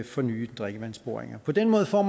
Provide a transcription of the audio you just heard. for nye drikkevandsboringer på den måde får